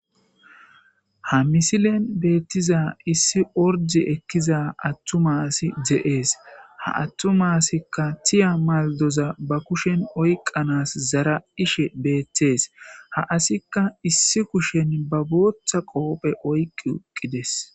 ha misilen beettiza issi ordi ekkiza attumasi de7ees ha attumasikka tiya maldoza ba kushen oyqanas zara ishe beettees ha asikka issi kushen ba booththa qoophe oyqi uqqides